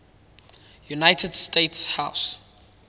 united states house